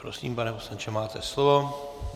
Prosím, pane poslanče, máte slovo.